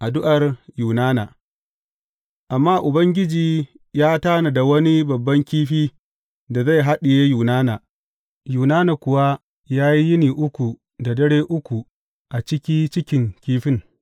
Addu’ar Yunana Amma Ubangiji ya tanada wani babban kifi da zai haɗiye Yunana, Yunana kuwa ya yi yini uku da dare uku a ciki cikin kifin.